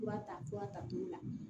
Fura ta fura ta t'o la